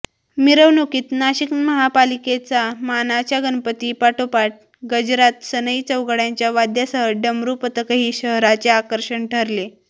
मिरवणुकीत नाशिक महापालिकेचा मानाच्या गणपतीपाठोपाठ गजरात सनई चौघड्यांच्या वाद्यासह डमरू पथकही शहराचे आकर्षण ठरले